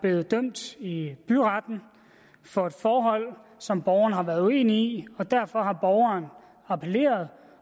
blevet dømt i byretten for et forhold som borgeren har været uenig og derfor har borgeren appelleret